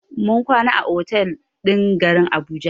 Mun kwana a otal ɗin garin Abuja.